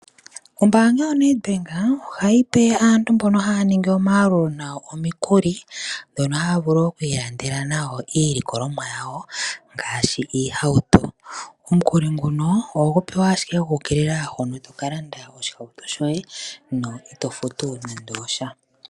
Ombaanga yoNedBank ohayi pe aantu mbono haya ningi omayalulo nayo omikuli, dhono haya vulu oku ilandela nadho iilikolomwa yawo ngaashi iihauto. Omukuli nguno oho gu pewa asjike gwa ukilila hono to ka landa oshihauto shoye, na ito futu nande osha.